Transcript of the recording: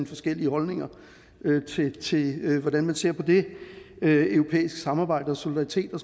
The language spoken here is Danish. forskellige holdninger til hvordan man ser på det europæiske samarbejde og solidaritet og